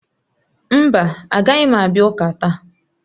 Mba, agaghị m abịa ụka taa